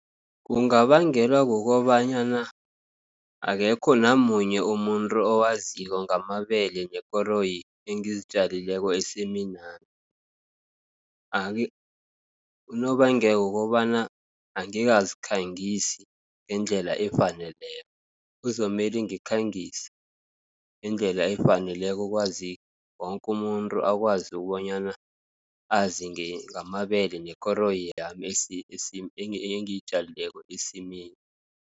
Kungabangelwa kukobanyana, akekho namunye umuntru owaziko ngamabele nekoroyi engizitjalileko esiminami. Unobangela wokobana angikazikhangisi ngendlela efaneleko, kuzomele ngikhangise ngendlela efaneleko, ukwazi wonkumuntru akwazi ukobanyana azingamabele nekoro yami engiyitjalileko esimini.